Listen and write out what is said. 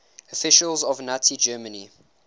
officials of nazi germany